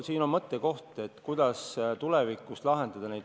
Siin on mõttekoht, kuidas tulevikus neid asju lahendada.